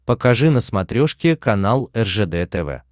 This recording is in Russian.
покажи на смотрешке канал ржд тв